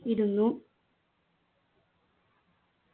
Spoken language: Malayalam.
ഇരുന്നു